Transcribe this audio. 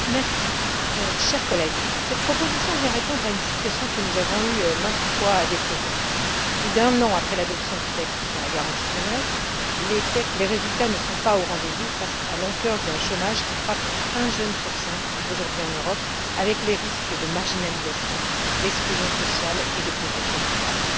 Monsieur le Président, chers collègues, cette proposition répond à une situation que nous avons eu maintes fois à déplorer. Plus d'un an après l'adoption du texte sur la garantie pour la jeunesse, les résultats ne sont pas au rendez vous face à l'ampleur d'un chômage qui frappe un jeune sur cinq aujourd'hui en Europe et aux risques de marginalisation, d'exclusion sociale et de pauvreté durable.